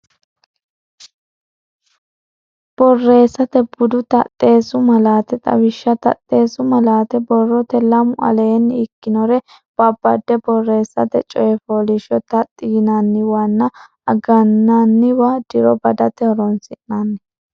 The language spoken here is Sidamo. Borreessate Bude Taxxeessu Malaate Xawishsha Taxxeessu malaate borrote lamu aleenni ikkinore babbade borreessate coy fooliishsho taxxi yinanniwanna agananna diro badate horonsi nanni.